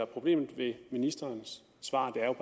problemet ved ministerens svar er